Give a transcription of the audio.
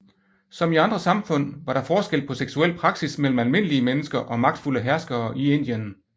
Som i andre samfund var der forskel på seksuel praksis mellem almindelige mennesker og magtfulde herskere i Indien